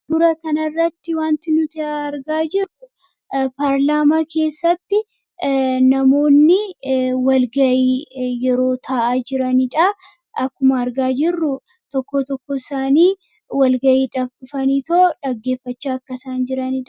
katura kanarratti wanti nuti argaa jirru paarlaamaa keessatti namoonni walgayii yeroo ta'a jiraniidha akkuma argaa jirru tokko tokko isaanii walgayiidafanii too dhaggeeffachaa akkasaan jiraniida